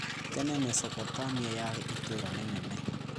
Tene Mesopotamia yarĩ itũũra rĩnene.